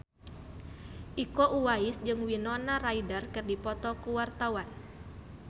Iko Uwais jeung Winona Ryder keur dipoto ku wartawan